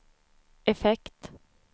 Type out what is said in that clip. effekt